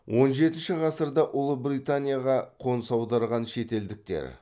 он жетінші ғасырда ұлыбританияға қоныс аударған шетелдіктер